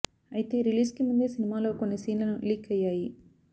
అయితే రిలీజ్ కి ముందే సినిమాలో కొన్ని సీన్లను లీక్ అయ్యాయి